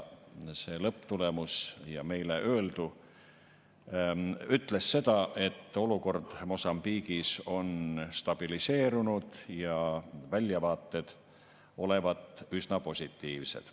See lõpptulemus ja meile öeldu ütles seda, et olukord Mosambiigis on stabiliseerunud ja väljavaated olevat üsna positiivsed.